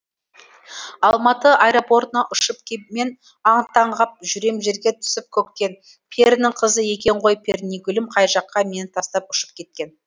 алматы аэропортына ұшып кеп мен аң таң ғап жүрем жерге түсіп көктен перінің қызы екен ғой пернегүлім қай жаққа мені тастап ұшып кеткен